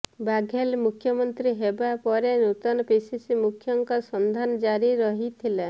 ବାଘେଲ ମୁଖ୍ୟମନ୍ତ୍ରୀ ହେବା ପରେ ନୂତନ ପିସିସି ମୁଖ୍ୟଙ୍କ ସନ୍ଧାନ ଜାରି ରହିଥିଲା